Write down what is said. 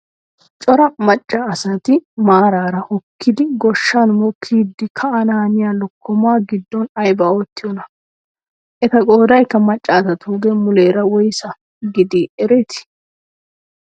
Cora macca asati maarara hokkidi gooshshan mokkidi ka'anaaniyaa lokkomaa giddon aybaa oottiyoonaa? eta qoodaykka macca asatugee muleera woysaa gidii eretii?